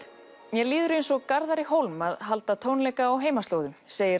mér líður eins og Garðari Hólm að halda tónleika á heimaslóðum segir